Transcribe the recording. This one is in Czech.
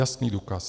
Jasný důkaz.